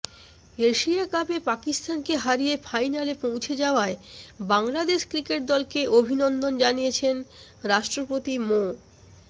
Asia কাপে পাকিস্তানকে হারিয়ে ফাইনালে পৌঁছে যাওয়ায় বাংলাদেশ ক্রিকেট দলকে অভিনন্দন জানিয়েছেন রাষ্ট্রপতি মো